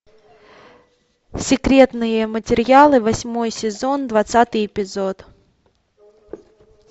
секретные материалы восьмой сезон двадцатый эпизод